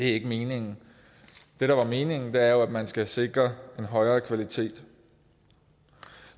ikke meningen det der er meningen er jo at man skal sikre en højere kvalitet